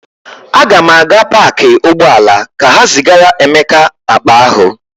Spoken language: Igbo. Aga m aga paakị ụgbọala ka ha zigara Emeka akpa ahụ.